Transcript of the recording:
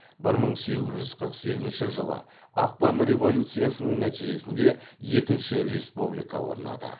бір мың сегіз жүз қырық сегізінші жылы ақпан революциясының нәтижесінде екінші республика орнады